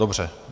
Dobře.